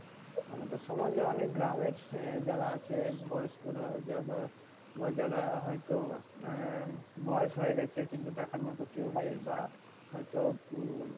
আমাদের সমাজে অনেক গ্রামের যারা আছে বয়স্করা। যারা বা যারা হয়তো আহ বয়স হয়ে গেছে কিন্তু দেখার মত কেউ নেই। বা হয়তো উম